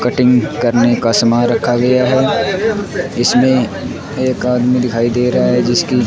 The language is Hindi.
कटिंग करने का सामान रखा गया है इसमें एक आदमी दिखाई दे रहा है जिसकी --